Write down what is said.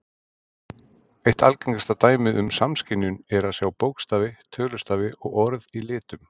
Eitt algengasta dæmið um samskynjun er að sjá bókstafi, tölustafi og orð í litum.